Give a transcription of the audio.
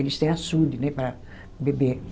Eles têm açude, né, para beber.